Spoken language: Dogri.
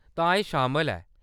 तां एह्‌‌ शामल ऐ।